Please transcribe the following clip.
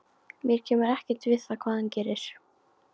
Mér kemur ekkert við hvað hann gerir.